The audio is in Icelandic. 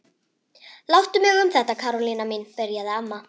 Láttu mig um þetta Karólína mín byrjaði amma.